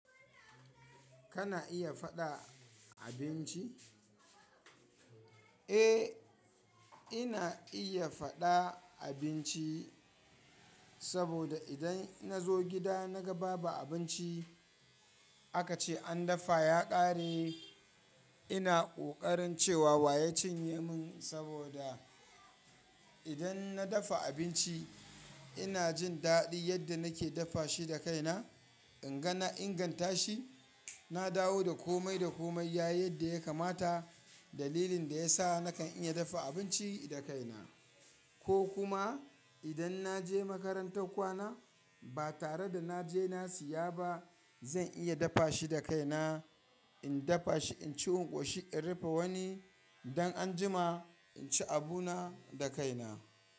Kana iya faɗa abinci? Eh, ina iya faɗa abinci saboda idan na zo gida na ga babu abinci aka ce an dafa ya ƙare ina ƙoƙarin cewa wa ya cinye min saboda idan na dafa abinci ina jin daɗin yadda nake dafa shi da kaina. In ga na inganta shi, na dawo da komai da komai yayi yadda ya kamata. Dalilin da ya sa nakan iya dafa abinci da kaina ko kuma idan na je makarantar kwana ba tare da na je na siya ba zan iya dafa shi da kaina. In dafa shi, in ci, in ƙoshi, in rufe wani don anjima in ci abu na da kaina.